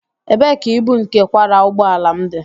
Ebee ka ibu nke kwara ụgbọ ala m dị?